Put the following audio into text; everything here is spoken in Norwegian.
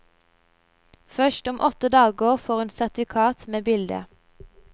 Først om åtte dager får hun sertifikat med bilde.